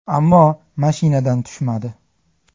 Ammo mashinadan tushmadi.